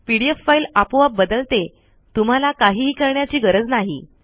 PDF file आपोआप बदलते तुम्हाला काहीही करण्याची गरज नाही